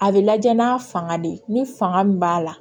A bɛ lajɛ n'a fanga de ni fanga min b'a la